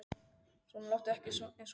Svona láttu ekki eins og kjáni.